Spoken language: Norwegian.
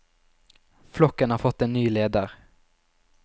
Flokken har fått en ny leder.